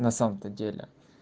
на самом-то деле